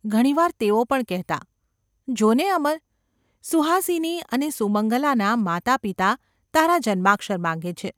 ઘણી વાર તેઓ પણ કહેતાં : ‘જો ને, અમર ! સુહાસિની અને સુમંગલાનાં માતાપિતા તારા જન્માક્ષર માંગે છે.